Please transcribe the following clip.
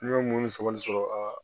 N ye mun sabali sɔrɔ a la